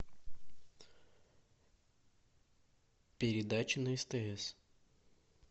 передача на стс